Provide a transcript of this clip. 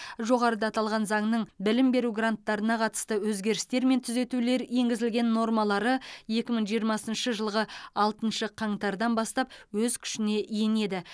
жоғарыда аталған заңның білім беру гранттарына қатысты өзгерістер мен түзетулер енгізілген нормалары екі мың жиырмасыншы жылғы алтыншы қаңтардан бастап өз күшіне енеді